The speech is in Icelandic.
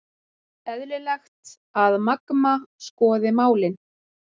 Eðlilegt að Magma skoði málin